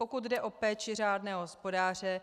Pokud jde o péči řádného hospodáře,